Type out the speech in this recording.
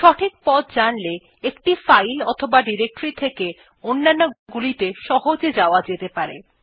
সঠিক পথ জানলে একটি ফাইল অথবা ডিরেক্টরী থেকে অন্যান্য গুলি সহজে যাওয়া যেতে পারে